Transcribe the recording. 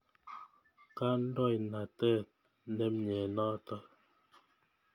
Kandoinatet ne mye notok .